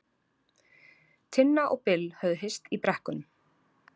Tinna og Bill höfðu hist í brekkunum.